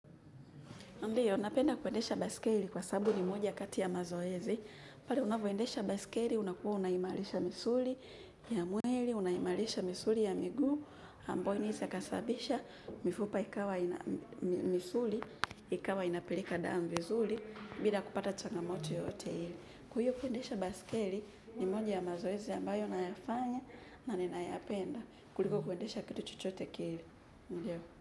Ndiyo, napenda kuendesha baiskeli kwa sababu ni moja kati ya mazoezi. Pale unapoendesha baiskeli, unakuwa unaimarisha misuli ya mwili, unaimarisha misuli ya miguu. Ambayo inaweza ikasababisha, mifupa ikawa, misuli, ikawa inapeleka damu vizuri, bila kupata changamoto yoyote ile. Kwa hivyo kuendesha baiskeli ni moja ya mazoezi ambayo nayafanya na ninayapenda. Kuliko kuendesha kitu chochote kile.